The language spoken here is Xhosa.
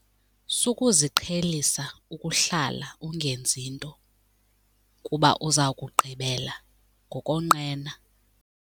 Sukuziqhelisa ukuhlala ungenzi nto kuba uza kugqibela ngokonqena.